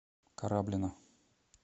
кораблино